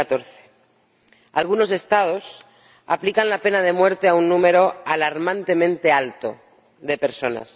2014. Algunos Estados aplican la pena de muerte a un número alarmantemente alto de personas.